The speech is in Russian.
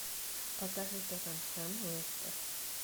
покажи тоттенхэм лестер